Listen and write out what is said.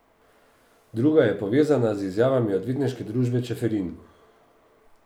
Druga je povezana z izjavami Odvetniške družbe Čeferin.